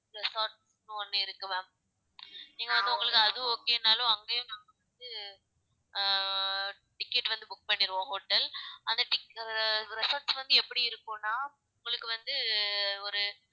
resorts ஒண்ணு இருக்கு ma'am நீங்க வந்து உங்களுக்கு அது okay நாளும் அங்கயும் நாங்க வந்து ஆஹ் ticket வந்து book பண்ணிருவோம் hotel அந்த tic~ resorts வந்து எப்டி இருக்கும்னா உங்களுக்கு வந்து ஒரு